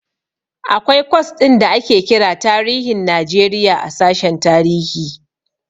Akwai kwas ɗin da ake kira tarihin Najeriya a sashen tarihi.